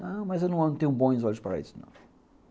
Não, mas eu não tenho bons olhos para isso, não.